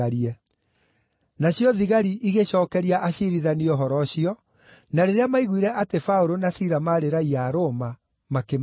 Nacio thigari igĩcookeria aciirithania ũhoro ũcio, na rĩrĩa maaiguire atĩ Paũlũ na Sila maarĩ raiya a Roma, makĩmaka.